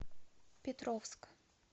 петровск